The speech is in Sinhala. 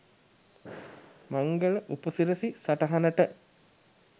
මංගල උපසිරසි සටහනට